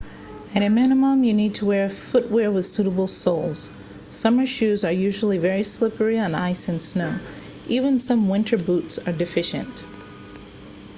at a minimum you need footwear with suitable soles summer shoes are usually very slippery on ice and snow even some winter boots are deficient